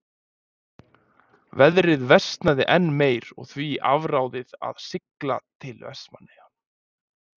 Veðrið versnaði enn meir og því var afráðið að sigla til Vestmannaeyja.